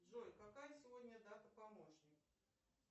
джой какая сегодня дата помощник